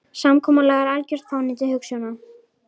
Samkomulag er um algjört fánýti hugsjóna.